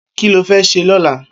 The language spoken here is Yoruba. Kiló fè sé lọ̀là?